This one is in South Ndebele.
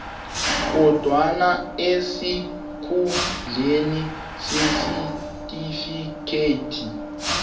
kodwana esikhundleni sesitifikhethi